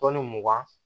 mugan